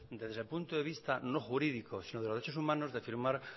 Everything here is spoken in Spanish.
desde el punto de vista no jurídico sino de los derechos humanos de firmar